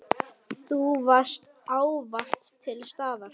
Þú varst ávallt til staðar.